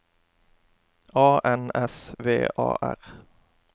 A N S V A R